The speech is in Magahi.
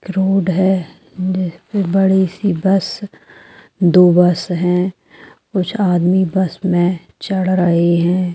एक रोड है जिसमे बड़ी सी बस दो बस है कुछ आदमी बस मे चढ़ रहे है ।